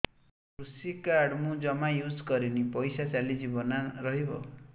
କୃଷି କାର୍ଡ ମୁଁ ଜମା ୟୁଜ଼ କରିନି ପଇସା ଚାଲିଯିବ ନା ରହିବ